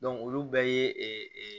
olu bɛɛ ye